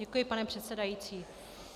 Děkuji, pane předsedající.